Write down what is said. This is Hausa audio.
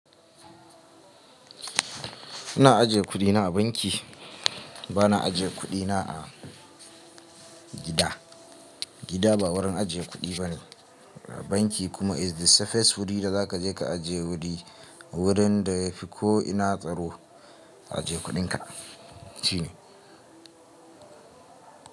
Ina ajiye kuɗina a banki, ba na ajiye kuɗina a gida. Gida ba wurin ajiye kuɗi bane. Banki kuma is the safest wuri da za ka je ka ajiye kuɗi. Wurin da ya fi ko'ina tsaro ajiye kuɗinka shine.